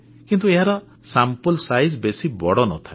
କିନ୍ତୁ ଏହାର ନମୁନାର ଆକାର ବେଶୀ ବଡ଼ ନ ଥାଏ